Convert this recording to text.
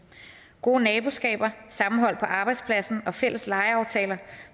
gode naboskaber sammenhold på arbejdspladsen og fælles legeaftaler